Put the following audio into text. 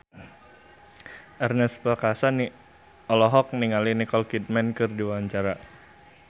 Ernest Prakasa olohok ningali Nicole Kidman keur diwawancara